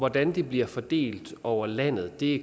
hvordan det bliver fordelt over landet er det